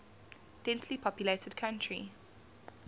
densely populated country